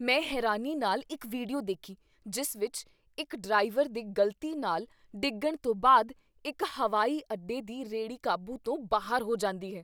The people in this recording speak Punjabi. ਮੈਂ ਹੈਰਾਨੀ ਨਾਲ ਇੱਕ ਵੀਡੀਓ ਦੇਖੀ ਜਿਸ ਵਿੱਚ ਇੱਕ ਡਰਾਈਵਰ ਦੇ ਗ਼ਲਤੀ ਨਾਲ ਡਿੱਗਣ ਤੋਂ ਬਾਅਦ ਇੱਕ ਹਵਾਈ ਅੱਡੇ ਦੀ ਰੇੜੀ ਕਾਬੂ ਤੋਂ ਬਾਹਰ ਹੋ ਜਾਂਦੀ ਹੈ।